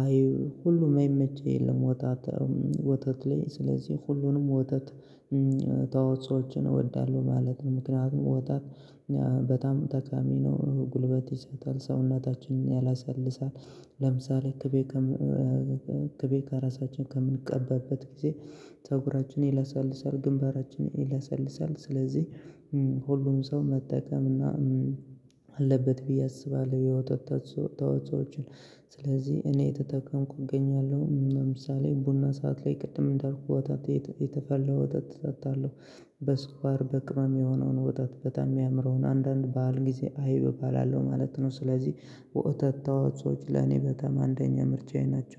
አይብ ሁሉም የማይመች የለም። ወተት ወተት ላይ ስለዚህ ሁሉንም ወተት ተዋጾችን እወዳለሁ ማለት ነው። ምክንያቱም ወተት በጣም ጠቃሚ ነው ጉልበት ይሰጣል ሰውናታችንን ያለሰልሳል። ለምሳሌ ቅቤ ቅቤ እራሳችን በምንቀበበት ጊዜ ፀጉራችን ይለሰልሳል ግንባራችን ይለሰልሳል። ስለዚህ ሁሉም ሰው መጠቀም እና አለበት ብዬ አስባለሁ። የወተ ተዋጾዎችን ስለዚህ እኔ እየተጠቀምኩ እገኛለሁ። ለምሳሌ ቡና ሰዓት ላይ ቅድም እንዳልኩት ወተት ቤት የተፈላ ወተት እጠጣለሁ በስኳር በቅመም የሆነውን ወጣት በጣም የሚያምረውን አንዳንድ በዓል ጊዜ አይብ እባላለሁ ማለት ነው። ስለዚህ ወተት ተዋጾዎች ለኔ በጣም አንደኛ ምርጫዬ ናቸው